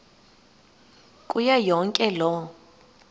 kuyo yonke loo